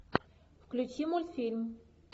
включи мультфильм